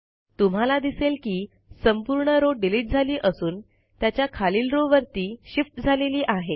तुम्हाला दिसेल की संपूर्ण रॉव डिलिट झाली असून त्याच्या खालील रो वरती शिफ्ट झालेली आहे